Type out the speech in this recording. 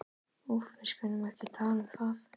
Úff, við skulum ekki tala um það.